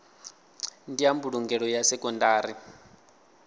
ndi ya mbulungelo ya sekondari